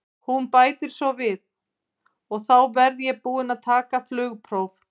Hún bætir svo við: og þá verð ég búin að taka flugpróf.